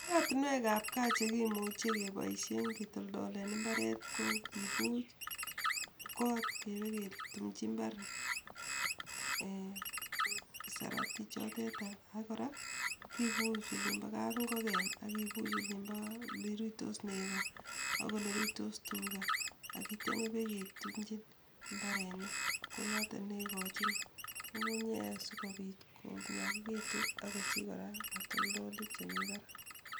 Oratinwekab gaa chekimuchei kepoishen ketoldolen imbaret kokepuch kot apketumichi imbar en sarati chotetai ak kora kepuch oliimbo kapingoken ak kipuch olimbo lirutois neko ak oleruitos tuga akityo peketumchi mbarenik konoto neikochin ngungunyek asikopit konyakikitu ak kosich kora katoldolik chemi barak.